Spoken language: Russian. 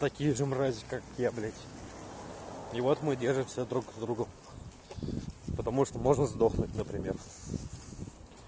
такие же мрази как я блять и вот мы держимся друг с другом потому что можно сдохнуть например